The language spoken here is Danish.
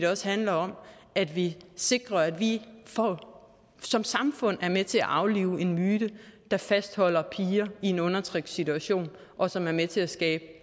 også handler om at vi sikrer at vi som samfund er med til at aflive en myte der fastholder piger i en undertrykkende situation og som er med til at skabe